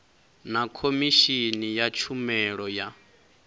na khomishini ya tshumelo ya